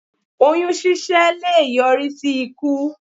Oyún ṣíṣẹ́ leè yọrí í sí ikú